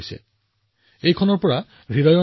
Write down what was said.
মই বিচাৰো যে আমাৰ সকলো যুৱ সহকৰ্মীয়ে এয়া পঢ়িব